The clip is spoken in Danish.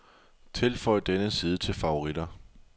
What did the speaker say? Tilføj denne side til favoritter.